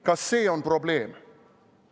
Kas see on probleem?